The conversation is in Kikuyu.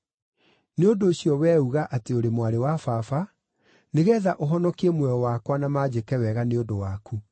Nĩ ũndũ ũcio wee uga atĩ ũrĩ mwarĩ wa baba, nĩgeetha ũhonokie muoyo wakwa na manjĩke wega nĩ ũndũ waku.”